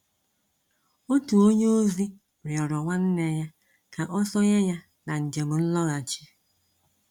Otu onye ozi rịọrọ nwanne ya ka ọ sonye ya na njem nlọghachi.